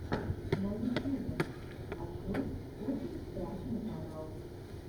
на ютьюбе открой очень страшный канал